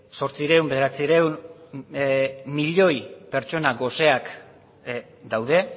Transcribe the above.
zortziehun bederatziehun milioi pertsona goseak daude